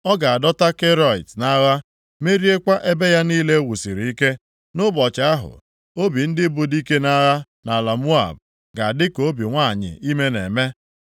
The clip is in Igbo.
A ga-adọta Keriọt nʼagha, meriekwa ebe ya niile e wusiri ike. Nʼụbọchị ahụ, obi ndị bụ dike nʼagha nʼala Moab ga-adị ka obi nwanyị ime na-eme.